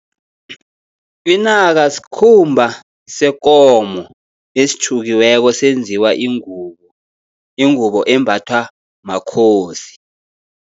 Inaka skhumba sekomo esitjhukiweko senziwa ingubo, ingubo embathwa makhosi.